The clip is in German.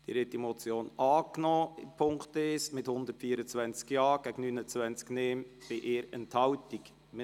Sie haben den Punkt 1 mit 124 Ja- zu 29 Nein-Stimmen bei 1 Enthaltung angenommen.